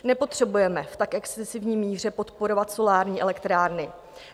Nepotřebujeme v tak excesivní míře podporovat solární elektrárny.